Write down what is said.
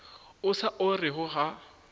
o sa o orego ga